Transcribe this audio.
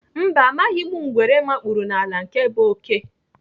Mba, amaghị ngwere mkpụrụ n'ala nke bụ oké.